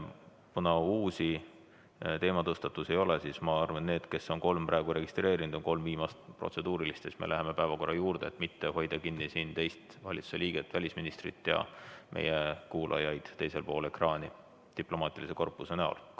Kuna uusi teematõstatusi ei ole, siis ma arvan, et need kolm, kes on praegu registreerinud, küsivad viimased protseduurilised küsimused ära ning seejärel me läheme päevakorra juurde, et mitte hoida siin kinni teist valitsuse liiget, välisministrit, ja meie kuulajaid diplomaatilisest korpusest teisel pool ekraani.